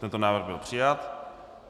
Tento návrh byl přijat.